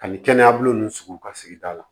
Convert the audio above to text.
Ani kɛnɛyabolo nunnu sugu ka sigida la